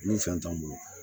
Ni fɛn t'anw bolo